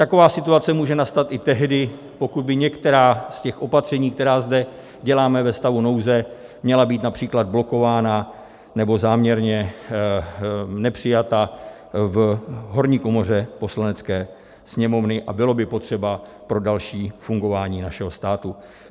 Taková situace může nastat i tehdy, pokud by některá z těch opatření, která zde děláme ve stavu nouze, měla být například blokována nebo záměrně nepřijata v horní komoře Poslanecké sněmovny a byla by potřeba pro další fungování našeho státu.